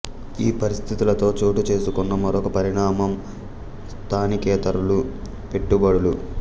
ఈ పరిస్థితులలో చోటు చేసుకొన్న మరొక పరిణామం స్థానికేతరుల పెట్టుబడులు